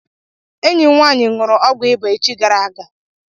Enyi m nwaanyị ṅụrụ ọgwụ ịba echi gara.